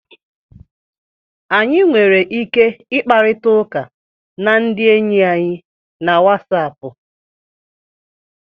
Anyị nwere ike ịkparịta ụka na ndị enyi anyị na Wasapụ